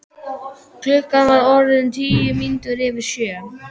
Klukkan var orðin tíu mínútur yfir sjö.